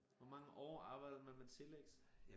Hvor mange år arbejdede man med telex?